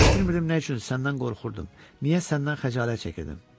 Heç bilmirdim nə üçün səndən qorxurdum, niyə səndən xəcalət çəkirdim.